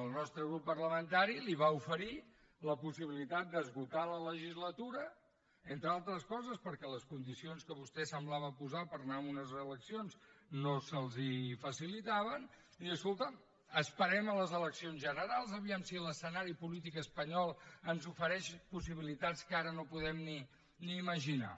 el nostre grup parlamentari li va oferir la possibilitat d’esgotar la legislatura entre altres coses perquè les condicions que vostè semblava posar per anar a unes eleccions no se’ls facilitaven de dir escolta’m esperem les eleccions generals a veure si l’escenari polític espanyol ens ofereix possibilitats que ara no podem ni imaginar